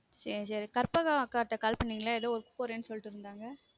சேரி கற்பகம் அக்கா கிட்ட call பண்ணிங்கலா எதொ work போறன் சொல்லிட்டுருந்தாங்க